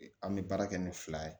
An bɛ baara kɛ ni fila ye